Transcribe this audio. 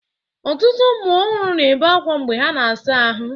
Ọtụtụ ụmụ ọhụrụ na-ebe akwa mgbe ha na-asa ahụ.